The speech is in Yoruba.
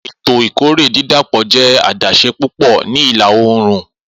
Eto ikore didapọ jẹ adaṣe pupọ ni ila-oorun.